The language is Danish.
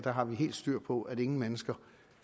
har helt styr på at ingen mennesker